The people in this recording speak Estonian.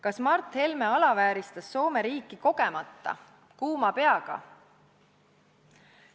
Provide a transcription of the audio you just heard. Kas Mart Helme alavääristas Soome riiki kogemata, kuuma peaga?